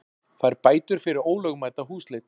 Fær bætur fyrir ólögmæta húsleit